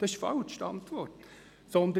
Diese Antwort ist natürlich falsch.